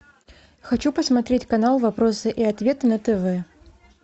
хочу посмотреть канал вопросы и ответы на тв